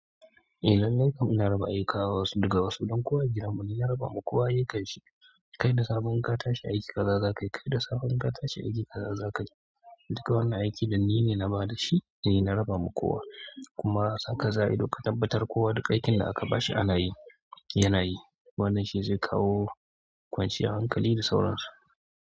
Eh lallai kam muna raba aika kawo wasu daga wasu don kuwa gidanmu ni na raba ma kowa ayukkanshi. Kai da safe in ka tashi aiki kaza zakayi, kai da safe in ka tashi aiki kaza zakayi duk wannan aiki ɗin nine na bada shi ni na raba ma kowa. Kuma sanka za ido duk ka tabbatar kowa duka aikin da aka ba shi ana yi, yana yi. Wannan shi zai kawo kwanciyar hankali da sauransu.